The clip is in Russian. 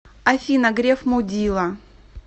афина греф мудила